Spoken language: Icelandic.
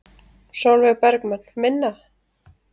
Sólveig Bergmann: Minna?